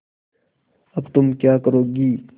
अब तुम क्या करोगी